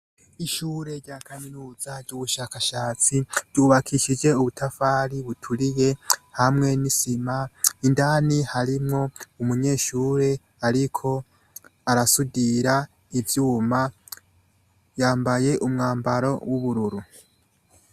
Ishure rya kaminuza ry’ubushakashatsi ryubakishijwe ubutafari buturiye hamwe nisima indani harimwo umunyeshure ariko arasudira ivyuma yambaye umwambaro w’ubururu.